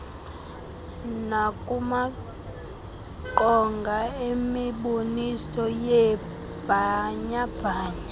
nakumaqonga emiboniso yeebhanyabhanya